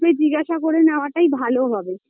তুই জিজ্ঞাসা করে নেওয়াটাই ভালো হবে